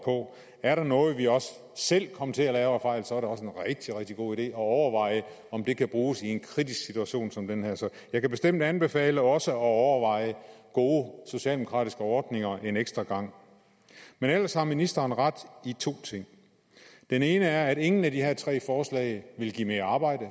på er der noget vi også selv kom til at lave af fejl så er det også en rigtig rigtig god idé at overveje om det kan bruges i en kritisk situation som den her jeg kan bestemt anbefale også at overveje gode socialdemokratiske ordninger en ekstra gang men ellers har ministeren ret i to ting den ene er at ingen af de her tre forslag vil give mere arbejde